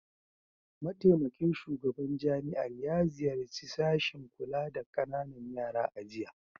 Mataimakin shugaban jami'ar ya ziyarci sashin kula da kananan yara a jiya